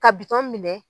Ka bitɔn minɛ